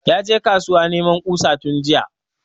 Ya je kasuwa neman ƙusa tun jiya